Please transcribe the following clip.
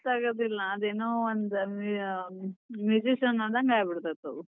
ಗೊತ್ತಾಗೋದಿಲ್ಲ ಅದೇನೋ ಒಂದ್ magician ಆದಂಗ್ ಆಗಿಬಿಡ್ತೇತಿ ಅವ್. .